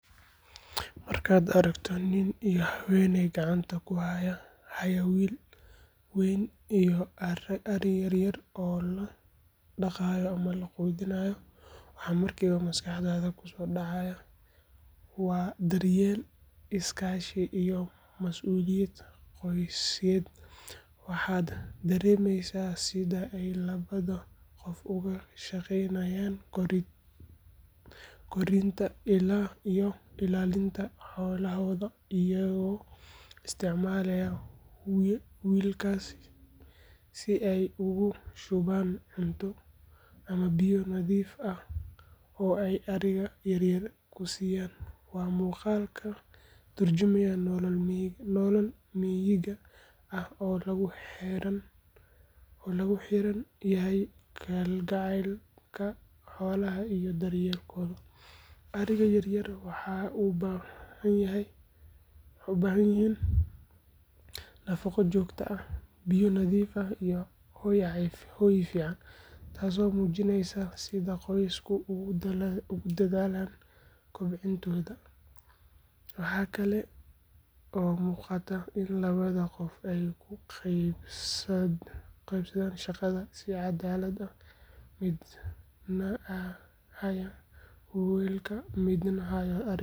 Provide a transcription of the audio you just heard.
Markaad aragto nin iyo haweeney gacanta ku wada haya weel wayn iyo ariya yar yar oo la dhaqayo ama la quudinayo, waxa markiiba maskaxdaada ku soo dhacaya waa daryeel, is-kaashi iyo mas’uuliyad qoysyeed. Waxaad dareemaysaa sida ay labada qof uga shaqeynayaan korinta iyo ilaalinta xoolahooda iyagoo isticmaalaya weelkaas si ay ugu shubaan cunto ama biyo nadiif ah oo ay ariga yaryar ku siiyaan. Waa muuqaal ka turjumaya nolol miyiga ah oo lagu xeeran yahay kalgacaylka xoolaha iyo daryeelkooda. Ariga yar yar waxay u baahan yihiin nafaqo joogto ah, biyo nadiif ah iyo hoy fiican, taasoo muujinaysa sida qoysasku ugu dadaalaan kobcintooda. Waxa kale oo muuqata in labada qof ay u qeybsadeen shaqada si caddaalad ah, midna haya weelka midna hayo ariga.